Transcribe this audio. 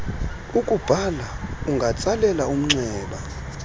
ukubhala ungatsalela umnxeba